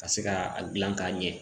Ka se ka a gilan k'a ɲɛ